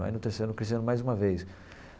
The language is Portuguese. Aí, no terceiro ano, cresci mais uma vez.